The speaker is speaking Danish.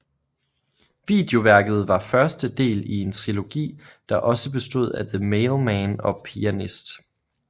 Videoværket var første del i en trilogi der også bestod af The Mailman og The Pianist